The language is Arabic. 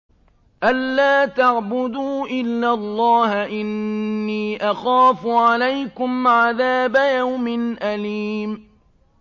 أَن لَّا تَعْبُدُوا إِلَّا اللَّهَ ۖ إِنِّي أَخَافُ عَلَيْكُمْ عَذَابَ يَوْمٍ أَلِيمٍ